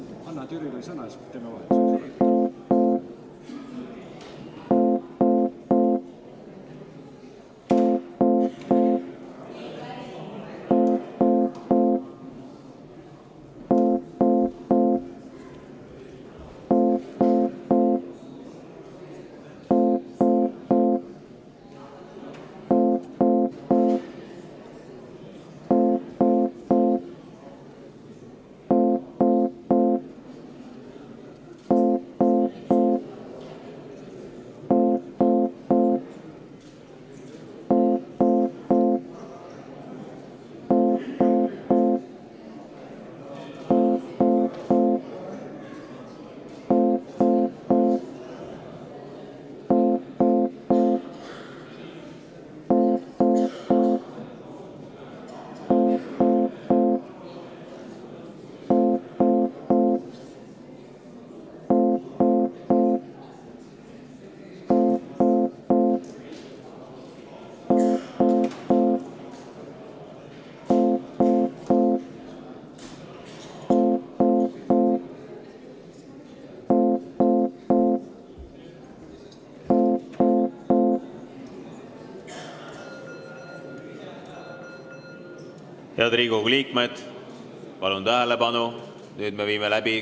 Head Riigikogu liikmed, palun tähelepanu, nüüd me teeme kohaloleku kontrolli.